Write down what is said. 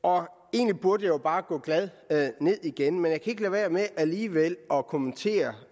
egentlig burde jeg jo bare gå glad ned igen men jeg kan være med alligevel at kommentere